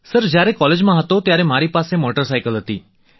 sir જ્યારે કોલેજમાં હતો ત્યારે મારી પાસે મોટર સાયકલ હતી